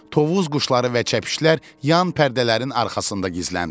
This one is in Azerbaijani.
Tovuz quşları və çəpişlər yan pərdələrin arxasında gizləndilər.